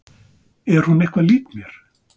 Er hún eitthvað lík mér?